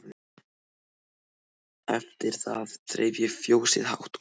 Eftir það þreif ég fjósið hátt og lágt.